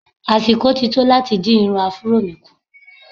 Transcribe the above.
Àsìkò ti tó láti dín irun Afuró mi kù.